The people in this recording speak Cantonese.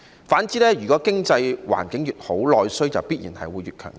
反之，經濟環境越好，內需必然會越強勁。